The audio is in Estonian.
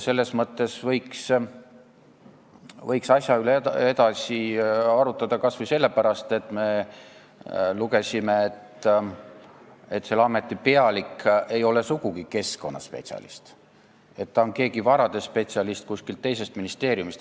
Selles mõttes võiks asja üle edasi arutada, kas või sellepärast, et me lugesime, et selle ameti pealik ei ole sugugi keskkonnaspetsialist, ta on keegi varade spetsialist kuskilt teisest ministeeriumist.